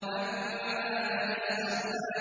أَمَّا مَنِ اسْتَغْنَىٰ